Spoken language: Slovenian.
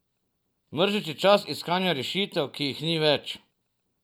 Mrzlični čas iskanja rešitev, ki jih ni več.